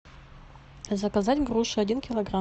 заказать груши один килограмм